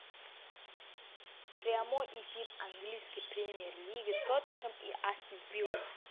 прямой эфир английской премьер лиги тоттенхэм и астон вилла